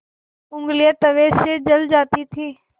ऊँगलियाँ तवे से जल जाती थीं